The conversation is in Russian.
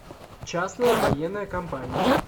частная военная компания